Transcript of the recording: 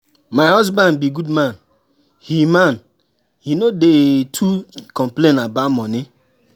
My husband be good man, he man, he no dey too complain about money.